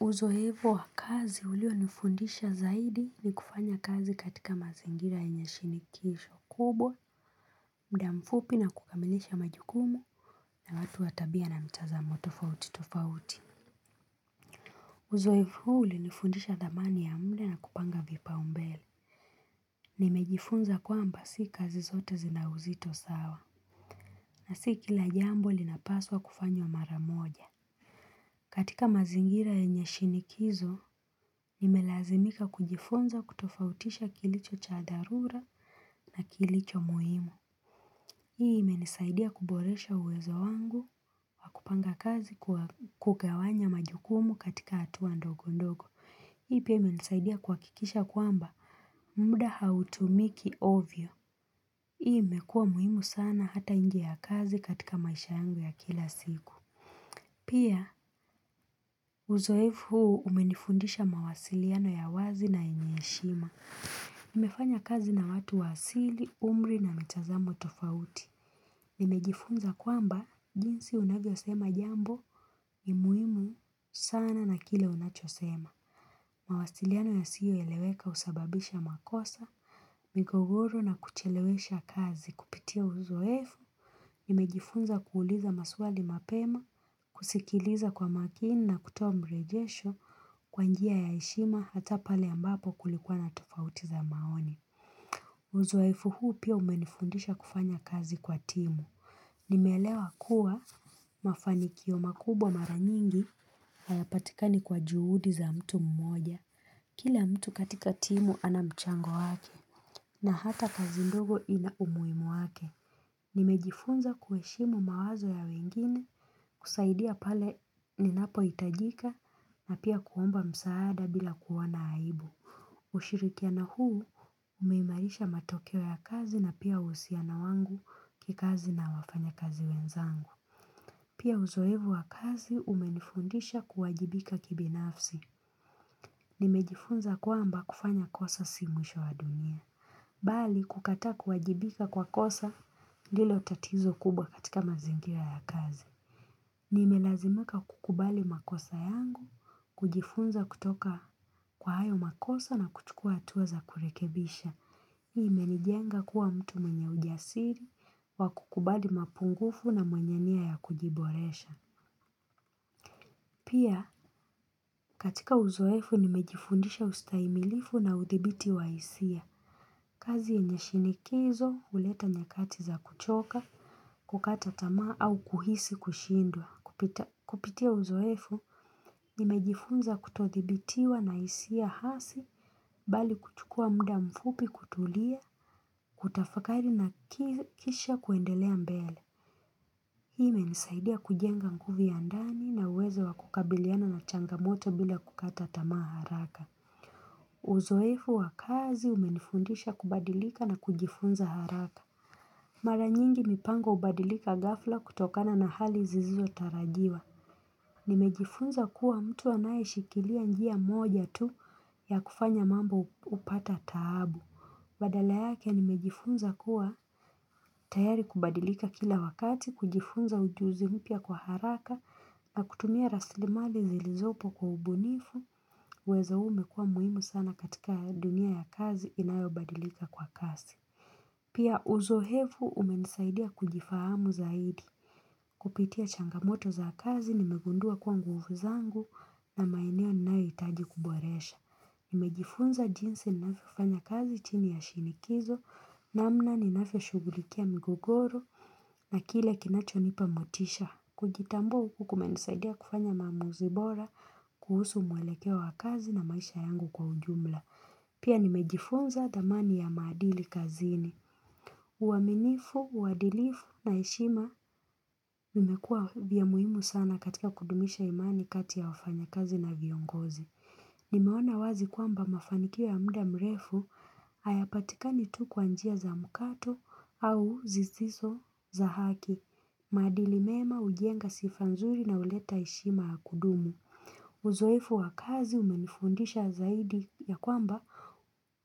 Uzoefu wa kazi uliyonifundisha zaidi ni kufanya kazi katika mazingira yenye shinikizo kubwa, muda mfupi na kukamilisha majukumu na watu wa tabia na mitazamo tofauti tofauti. Uzoefu huu ulinifundisha thamani ya muda na kupanga vipaumbele. Nimejifunza kwamba si kazi zote zina uzito sawa. Na si kila jambo linapaswa kufanywa mara moja. Katika mazingira yanye shinikizo, nimelazimika kujifunza kutofautisha kilicho cha dharura na kilicho muhimu. Hii imenisaidia kuboresha uwezo wangu na kupanga kazi kwa kugawanya majukumu katika hatua ndogo ndogo. Hii pia imenisaidia kuhakikisha kwamba muda hautumiki ovyo. Hii imekuwea muhimu sana hata nje ya kazi katika maisha yangu ya kila siku. Pia, uzoefu huu umenifundisha mawasiliano ya wazi na yenye heshima. Nimefanya kazi na watu wa asili, umri na mitazamo tofauti. Nimejifunza kwamba jinsi unavyosema jambo ni muhimu sana na kile unachosema. Mawasiliano yasiyo eleweka husababisha makosa, migogoro na kuchelewesha kazi. Kupitia uzoefu, nimejifunza kuuliza maswali mapema, kusikiliza kwa makini na kutoa marejesho kwa njia ya heshima hata pale ambapo kulikuwa na tofauti za maoni. Uzoefu huu pia umenifundisha kufanya kazi kwa timu. Nimeelewa kuwa mafanikio makubwa mara nyingi hayapatikani kwa juhudi za mtu mmoja. Kila mtu katika timu ana mchango wake na hata kazi ndogo ina umuhimu wake. Nimejifunza kuheshimu mawazo ya wengine, kusaidia pale ninapohitajika na pia kuomba msaada bila kuwa na aibu. Ushirikiano huu umeimarisha matokeo ya kazi na pia uhusiano wangu kikazi na wafanyakazi wenzangu. Pia uzoefu wa kazi umenifundisha kuwajibika kibinafsi. Nimejifunza kwamba kufanya kosa si mwisho wa dunia. Bali kukataa kuwajibika kwa kosa ndilo tatizo kubwa katika mazingira ya kazi. Nimelazimika kukubali makosa yangu, kujifunza kutoka kwa hayo makosa na kuchukua hatua za kurekebisha. Hii imenijenga kuwa mtu mwenye ujasiri, wa kukubali mapungufu na mwenye nia ya kujiboresha. Pia katika uzoefu nimejifundisha ustahimilifu na udhibiti wa hisia. Kazi yenye shinikizo huleta nyakati za kuchoka, kukata tamaa au kuhisi kushindwa. Kupitia uzoefu, nimejifunza kutodhibitiwa na hisia hasi, bali kuchukua muda mfupi kutulia, kutafakari na kisha kuendelea mbele. Hii imenisaidia kujenga nguvu ya ndani na uwezo wa kukabiliana na changamoto bila kukata tamaa haraka. Uzoefu wa kazi umenifundisha kubadilika na kujifunza haraka. Mara nyingi mipango hubadilika gafla kutokana na hali zisizo tarajiwa. Nimejifunza kuwa mtu anayeshikilia njia moja tu ya kufanya mambo hupata taabu. Badala yake nimejifunza kuwa tayari kubadilika kila wakati, kujifunza ujuzi mpya kwa haraka, na kutumia rasilimali zilizopo kwa ubunifu, uwezo huu umekua muhimu sana katika dunia ya kazi inayobadilika kwa kasi. Pia uzoefu umenisaidia kujifahamu zaidi. Kupitia changamoto za kazi nimegundua kuwa nguvu zangu na maeneo ninayohitaji kuboresha. Nimejifunza jinsi ninavyofanya kazi chini ya shinikizo, namna ninavyoshughulikia migogoro na kile kinachonipa motisha. Kujitambua huku kumenisaidia kufanya maamuzi bora kuhusu mwelekeo wa kazi na maisha yangu kwa ujumla. Pia nimejifunza thamani ya maadili kazini. Uaminifu, uadilifu na heshima Vimekuwa vya muhimu sana katika kudumisha imani kati ya wafanyakazi na viongozi Nimeona wazi kwamba mafanikio ya muda mrefu Hayapatikani tu kwa njia za mkato au zisizo za haki maadili mema hujenga sifa nzuri na huleta heshima ya kudumu Uzoefu wa kazi umenifundisha zaidi ya kwamba